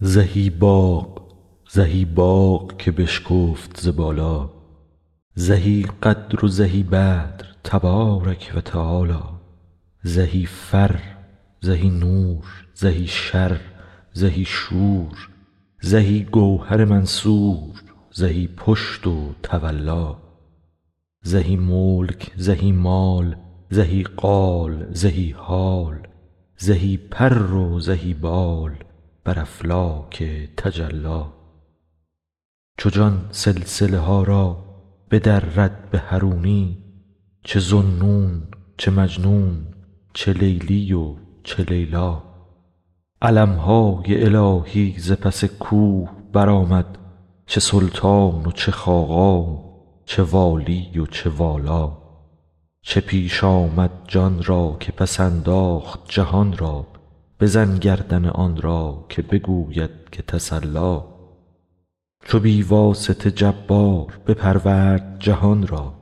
زهی باغ زهی باغ که بشکفت ز بالا زهی قدر و زهی بدر تبارک و تعالی زهی فر زهی نور زهی شر زهی شور زهی گوهر منثور زهی پشت و تولا زهی ملک زهی مال زهی قال زهی حال زهی پر و زهی بال بر افلاک تجلی چو جان سلسله ها را بدرد به حرونی چه ذاالنون چه مجنون چه لیلی و چه لیلا علم های الهی ز پس کوه برآمد چه سلطان و چه خاقان چه والی و چه والا چه پیش آمد جان را که پس انداخت جهان را بزن گردن آن را که بگوید که تسلا چو بی واسطه جبار بپرورد جهان را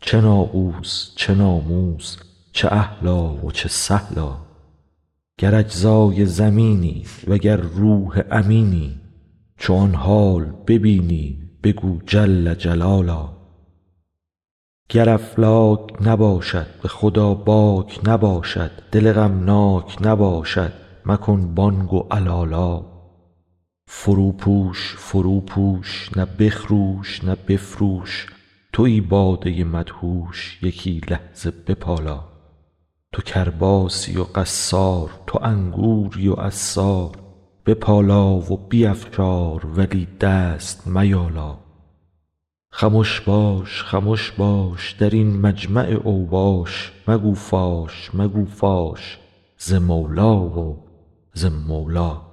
چه ناقوس چه ناموس چه اهلا و چه سهلا گر اجزای زمینی وگر روح امینی چو آن حال ببینی بگو جل جلالا گر افلاک نباشد به خدا باک نباشد دل غمناک نباشد مکن بانگ و علالا فروپوش فروپوش نه بخروش نه بفروش توی باده مدهوش یکی لحظه بپالا تو کرباسی و قصار تو انگوری و عصار بپالا و بیفشار ولی دست میالا خمش باش خمش باش در این مجمع اوباش مگو فاش مگو فاش ز مولی و ز مولا